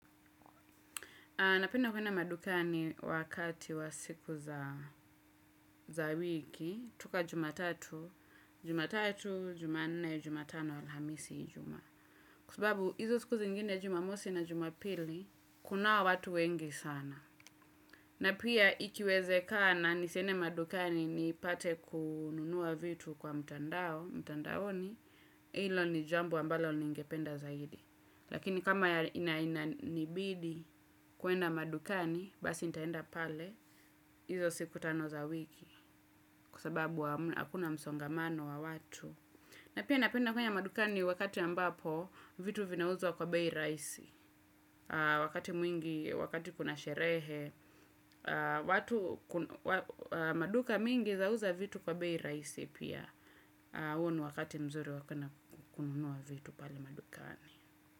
Napenda kuenda madukani wakati wa siku za wiki, tuka jumatatu, jumatatu, jumanne, jumatano, alhamisi, ijuma. Kua subabu, hizo siku zingine jumamosi na jumapili, kunawa watu wengi sana. Na pia, ikiwezekana, nisende madukani nipate kununua vitu kwa mtandao, mtandaoni, ilo ni jambo ambalo ningependa zaidi. Lakini kama inananibidi kuenda madukani, basi nitaenda pale, hizo siku tano za wiki, kuasababu wakuna msongamano wa watu. Na pia napenda kwenye madukani wakati ambapo, vitu vinauzwa kwa beyi raisi. Wakati mwingi, wakati kuna sherehe, maduka mingi zauza vitu kwa beyi raisi pia. Huu ni wakati mzuri wakuenda kununua vitu pale madukani.